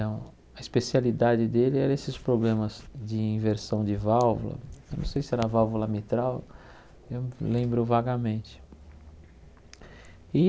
a especialidade dele era esses problemas de inversão de válvula, eu não sei se era válvula mitral, eu lembro vagamente.